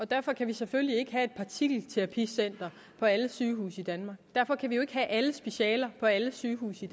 derfor kan vi selvfølgelig ikke have et partikelterapicenter på alle sygehuse i danmark derfor kan vi jo ikke have alle specialer på alle sygehuse i